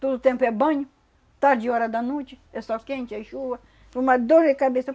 Todo o tempo é banho, tarde, hora da noite, é sol quente, é chuva, uma dor de cabeça.